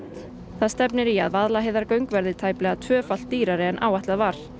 það stefnir í að Vaðlaheiðargöng verði tæplega tvöfalt dýrari en áætlað var